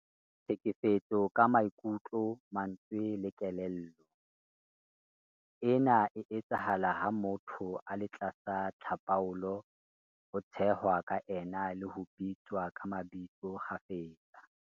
Tlhekefetso ka maikutlo, mantswe le kelello- Ena e etsahala ha motho a le tlasa tlhapaolo, ho tshehwa ka ena le ho bitswa ka mabitso kgafetsa.